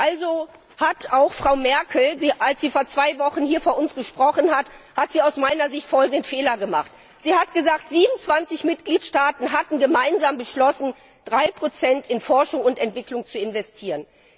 Also Frau Merkel hat, als sie vor zwei Wochen hier vor uns gesprochen hat, aus meiner Sicht folgenden Fehler gemacht Sie hat gesagt, 27 Mitgliedstaaten hatten gemeinsam beschlossen, 3 in Forschung und Entwicklung zu investieren.